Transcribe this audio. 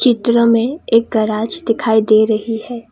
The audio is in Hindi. चित्र में एक गैरेज दिखाई दे रही है।